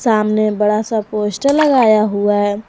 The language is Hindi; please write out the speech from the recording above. सामने बड़ा सा पोस्टर लगाया हुआ है।